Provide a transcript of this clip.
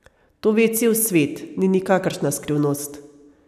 To ve cel svet, ni nikakršna skrivnost.